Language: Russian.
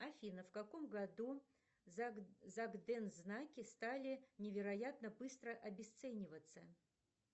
афина в каком году загдензнаки стали невероятно быстро обесцениваться